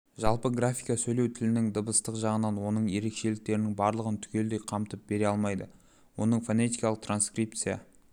жалпы графика сөйлеу тілінің дыбыстық жағын оның ерекшеліктерінің барлығын түгелдей қамтып бере алмайды оны фонетикалық транскрипция